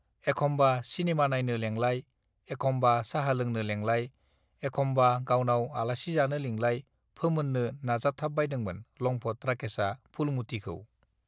एखमबा सिनेमा नायनो लेंलाय एखमबा साहा लोंनो लेंलाय एखमबा गावनाव आलासि जानो लिंलाय फोमोननो नाजाथाबबाइदोंमोन लंफत राकेस आ फुलमुतिखौ